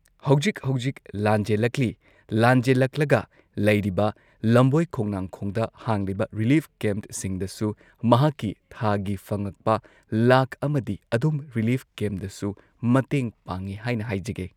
ꯍꯧꯖꯤꯛ ꯍꯧꯖꯤꯛ ꯂꯥꯟꯖꯦꯜꯂꯛꯂꯤ ꯂꯥꯟꯖꯦꯜꯂꯛꯂꯒ ꯂꯩꯔꯤꯕ ꯂꯝꯕꯣꯏ ꯈꯣꯡꯅꯥꯡꯈꯣꯡꯗ ꯍꯥꯡꯂꯤꯕ ꯔꯤꯂꯤꯐ ꯀꯦꯝꯞꯁꯤꯡꯗꯁꯨ ꯃꯍꯥꯛꯀꯤ ꯊꯥꯒꯤ ꯐꯪꯉꯛꯄ ꯂꯥꯛ ꯑꯃꯗꯤ ꯑꯗꯨꯝ ꯔꯤꯂꯤꯞ ꯀꯦꯝꯗꯁꯨ ꯃꯇꯦꯡ ꯄꯥꯡꯏ ꯍꯥꯏꯅ ꯍꯥꯏꯖꯒꯦ